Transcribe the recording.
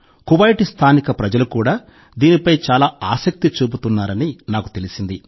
Kuwait స్థానిక ప్రజలు కూడా దీనిపై చాలా ఆసక్తి చూపుతున్నారని నాకు తెలిసింది